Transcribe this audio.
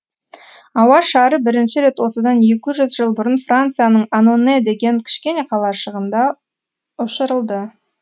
ауа шары бірінші рет осыдан екі жүз жыл бұрын францияның аноне деген кішкене қалашығында ұшырылды